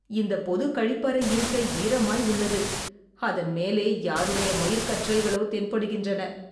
இந்த பொதுக் கழிப்பறை இருக்கை ஈரமாய் உள்ளது. அதன் மேலே யாருடைய மயிற்கற்றைகளோ தென்படுகின்றன.